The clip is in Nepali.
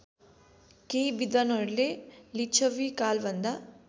केही विद्धानहरूले लिच्छविकालभन्दा